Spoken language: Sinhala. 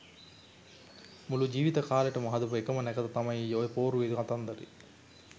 මුළු ජීවිත කාලෙටම හදපු එකම නැකත තමයි ඔය පෝරුවේ කතන්දරේ